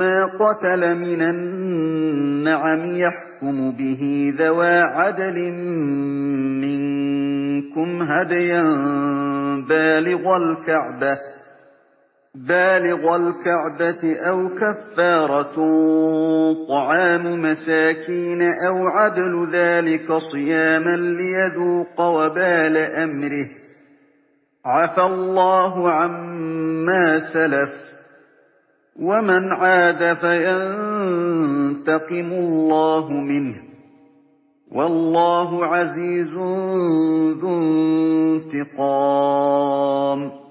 مَا قَتَلَ مِنَ النَّعَمِ يَحْكُمُ بِهِ ذَوَا عَدْلٍ مِّنكُمْ هَدْيًا بَالِغَ الْكَعْبَةِ أَوْ كَفَّارَةٌ طَعَامُ مَسَاكِينَ أَوْ عَدْلُ ذَٰلِكَ صِيَامًا لِّيَذُوقَ وَبَالَ أَمْرِهِ ۗ عَفَا اللَّهُ عَمَّا سَلَفَ ۚ وَمَنْ عَادَ فَيَنتَقِمُ اللَّهُ مِنْهُ ۗ وَاللَّهُ عَزِيزٌ ذُو انتِقَامٍ